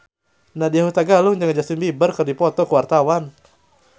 Nadya Hutagalung jeung Justin Beiber keur dipoto ku wartawan